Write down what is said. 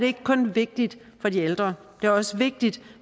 ikke kun vigtigt for de ældre det er også vigtigt